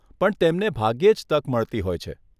પણ તેમને ભાગ્યે જ તક મળતી હોય છે.